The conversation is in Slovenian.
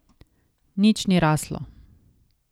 Nič ni raslo.